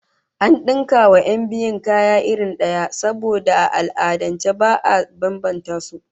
An dinka wa 'yan biyun kaya irin daya, saboda a al'adance ba'a bambanta su